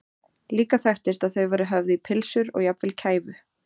Líka þekktist að þau væru höfð í pylsur og jafnvel kæfu.